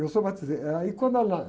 Eu sou batize, ãh ai como.